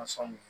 A faamu